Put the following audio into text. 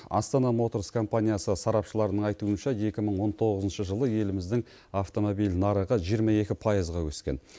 астана моторс компаниясы сарапшыларының айтуынша екі мың он тоғызыншы жылы еліміздің автомобиль нарығы жиырма екі пайызға өскен